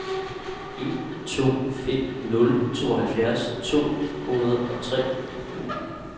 en to fem nul tooghalvfjerds to hundrede og tre